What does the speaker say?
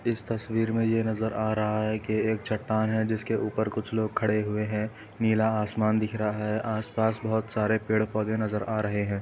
इस तस्वीर में यह नजर आ रहा है कि एक चट्टान है जिसके ऊपर कुछ लोग खड़े हैं नीला आसमान नजर आ रहा है आसपास हरे पेड़ पौधे नज़र आ रहै है।